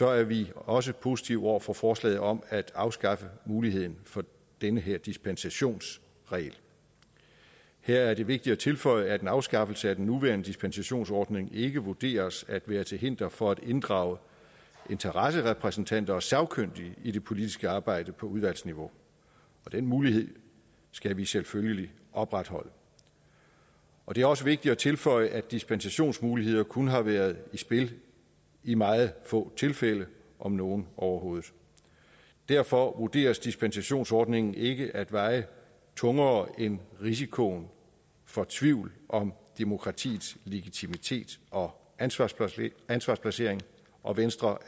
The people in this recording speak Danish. er vi også positive over for forslaget om at afskaffe muligheden for den her dispensationsregel her er det vigtigt at tilføje at en afskaffelse af den nuværende dispensationsordning ikke vurderes at være til hinder for at inddrage interesserepræsentanter og sagkyndige i det politiske arbejde på udvalgsniveau den mulighed skal vi selvfølgelig opretholde det er også vigtigt at tilføje at dispensationsmuligheden kun har været i spil i meget få tilfælde om nogen overhovedet derfor vurderes dispensationsordningen ikke at veje tungere end risikoen for tvivl om demokratiets legitimitet og ansvarsplaceringen ansvarsplaceringen og venstre